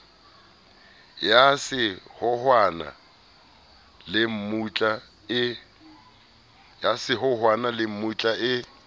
ya sehohwana le mmutla e